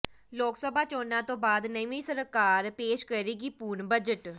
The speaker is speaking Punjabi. ਲੋਕ ਸਭਾ ਚੋਣਾਂ ਤੋਂ ਬਾਅਦ ਨਵੀਂ ਸਰਕਾਰ ਪੇਸ਼ ਕਰੇਗੀ ਪੂਰਨ ਬਜਟ